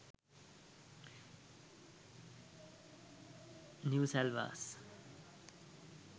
new salwars